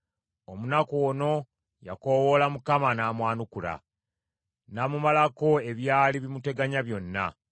Omunaku ono yakoowoola Mukama n’amwanukula, n’amumalako ebyali bimuteganya byonna.